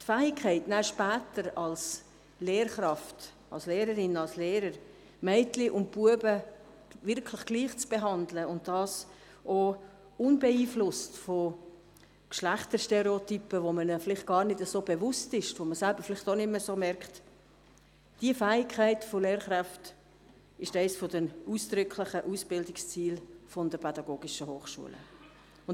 Die Fähigkeit, später als Lehrkraft die Mädchen und Jungs gleich zu behandeln, und dies unbeeinflusst von Geschlechterstereotypen, derer man sich selbst gar nicht bewusst ist, ist eines der ausdrücklichen Ausbildungsziele der Pädagogischen Hochschulen (PH).